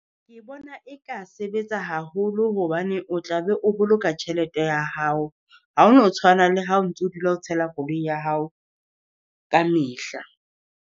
Ke bona e ka sebetsa haholo hobane o tla be o boloka tjhelete ya hao, ha o no tshwana le ha o ntso dula o tshela koloi ya hao ka mehla.